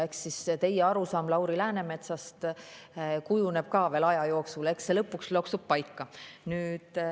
Eks siis teie arusaam Lauri Läänemetsast kujuneb ka veel aja jooksul ja lõpuks loksub paika.